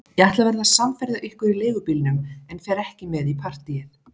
Ég ætla að verða samferða ykkur í leigubílnum en fer ekki með í partíið.